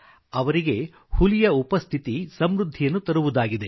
ಅವರಿಗೆ ಹುಲಿಯ ಉಪಸ್ಥಿತಿ ಸಮೃದ್ಧಿಯನ್ನು ತರುವುದಾಗಿದೆ